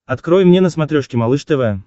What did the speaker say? открой мне на смотрешке малыш тв